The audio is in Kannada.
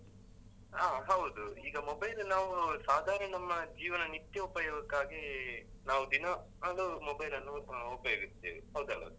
ಹ ಹೌದು. ಈಗ mobile ನಾವು ಸಾಧಾರಣ ನಮ್ಮ ಜೀವನ ನಿತ್ಯ ಉಪಯೋಗಕ್ಕಾಗಿ ನಾವು ದಿನ ಅಹ್ ಅದು mobile ನ್ನು ಅಹ್ ಉಪಯೋಗಿಸ್ತೆವೆ. ಹೌದಲ್ವಾ sir ?